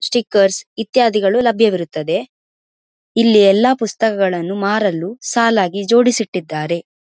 Stickers ಇತ್ಯಾದಿಗಳು ಲಭ್ಯವಿರುತ್ತದ್ದೆ ಇಲ್ಲಿ ಎಲ್ಲ ಪುಸ್ತಕಗಳನ್ನು ಮಾರಲು ಸಾಲಾಗಿ ಜೋಡಿಸಿ ಇಟ್ಟಿದ್ದಾರೆ.